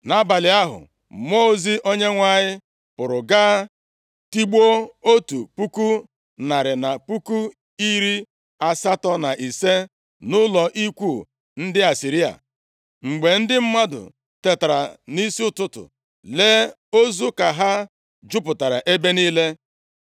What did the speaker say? Nʼabalị ahụ, mmụọ ozi Onyenwe anyị pụrụ gaa tigbuo otu puku narị na puku iri asatọ na ise nʼụlọ ikwu ndị Asịrịa. Mgbe ndị mmadụ tetara nʼisi ụtụtụ, lee, ozu ka ha jupụtara ebe niile.